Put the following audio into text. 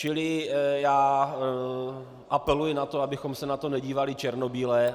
Čili já apeluji na to, abychom se na to nedívali černobíle.